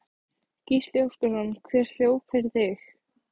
Gísli Óskarsson: Hver hljóp fyrir þig?